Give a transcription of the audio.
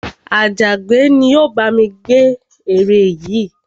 Àjàgbẹ́ ni ó bá mi gbẹ́ ère yìí